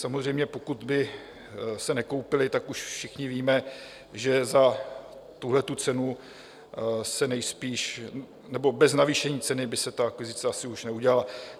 Samozřejmě, pokud by se nekoupila, tak už všichni víme, že za tuhletu cenu se nejspíš - nebo bez navýšení ceny - by se ta akvizice asi už neudělala.